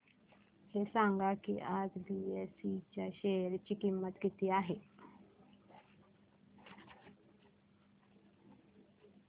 हे सांगा की आज बीएसई च्या शेअर ची किंमत किती आहे